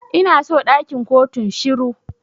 Ina so ɗakin kotun shiru.